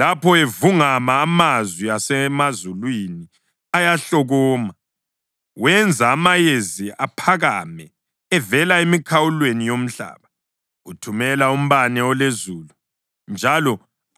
Lapho evungama, amanzi asemazulwini ayahlokoma, wenza amayezi aphakame evela emikhawulweni yomhlaba. Uthumela umbane ulezulu njalo